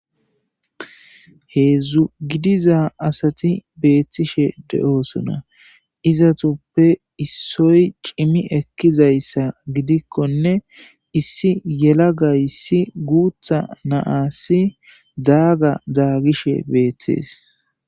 heedzdzu gidiza asati beettishe de7oosona izatuppe issoy cimi ekkizayssa gidikkonne issi yela gayssi guutha naasi daaga zaagishe beettees